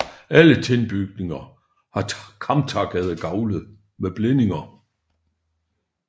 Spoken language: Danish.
Alle tilbygninger har kamtakkede gavle med blændinger